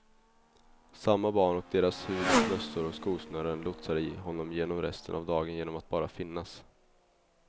Samma barn och deras hud och mössor och skosnören lotsade honom genom resten av dagen genom att bara finnas.